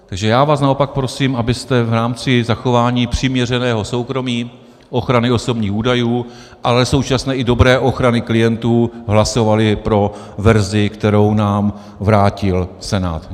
Takže já vás naopak prosím, abyste v rámci zachování přiměřeného soukromí, ochrany osobních údajů, ale současně i dobré ochrany klientů hlasovali pro verzi, kterou nám vrátil Senát.